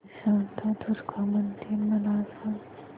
शांतादुर्गा मंदिर मला सांग